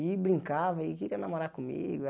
E brincava e queria namorar comigo.